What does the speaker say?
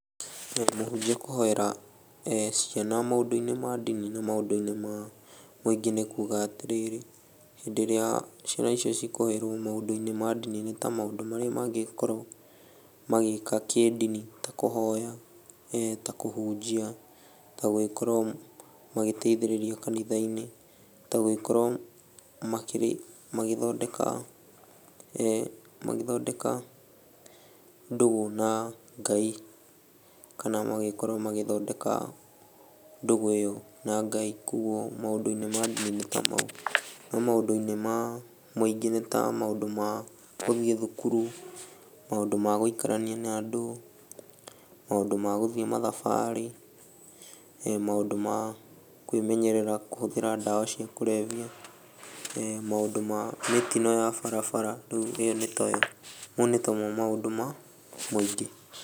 Mũhunjia kũhoera ciana maũndũ-inĩ ma ndini na maũndũ-inĩ ma mũingĩ nĩ kuga atĩrĩrĩ, hĩndĩ ĩrĩa ciana icio cikũhoerwo maũndũ-inĩ ma ndini nĩ ta maũndũ marĩa mangĩgĩkorwo magĩka kĩdini ta kũhoya, ta kũhunjia, ta gũgĩkorwo magĩgĩteithĩrĩrio kanitha-inĩ, ta gũgĩkorwo makĩrĩ magĩthondeka magĩthondeka ndũgũ na Ngai kana magĩkorwo magĩgĩthondeka ndũgũ ĩyo na Ngai, kuoguo maũndũ-inĩ ma ndini nĩ ta mau. No maũndũ-inĩ ma mũingĩ nĩ ta maũndũ ma gũthiĩ thukuru, maũndũ ma gũikarania na andũ, maũndũ ma gũthiĩ mathabarĩ, maũndũ ma kwĩmenyerera kũhũthĩra ndawa cia kũrebia, maũndũ ma mĩtino ya barabara, rĩu ĩyo nĩ ta yo, mau nĩ ta mo maũndũ ma mũingĩ.